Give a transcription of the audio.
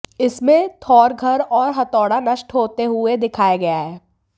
इसमें थॉर घर और हथौड़ा नष्ट होते हुये दिखाया गया है